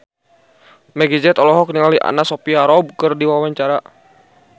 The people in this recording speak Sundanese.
Meggie Z olohok ningali Anna Sophia Robb keur diwawancara